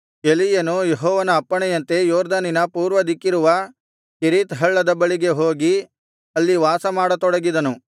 ಎಲೀಯನು ಯೆಹೋವನ ಅಪ್ಪಣೆಯಂತೆ ಯೊರ್ದನಿನ ಪೂರ್ವದಿಕ್ಕಿರುವ ಕೆರೀತ್ ಹಳ್ಳದ ಬಳಿಗೆ ಹೋಗಿ ಅಲ್ಲಿ ವಾಸಮಾಡ ತೊಡಗಿದನು